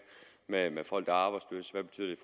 med folk arbejdsløse hvad betyder